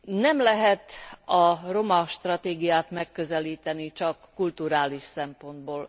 Nem lehet a roma stratégiát megközelíteni csak kulturális szempontból.